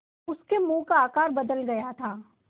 उसके मुँह का आकार बदल गया था